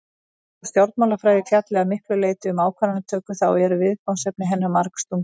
Þótt stjórnmálafræði fjalli að miklu leyti um ákvarðanatöku þá eru viðfangsefni hennar margslungin.